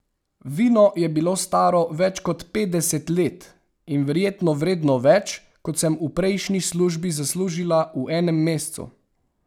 Vino je bilo staro več kot petdeset let in verjetno vredno več, kot sem v prejšnji službi zaslužila v enem mesecu.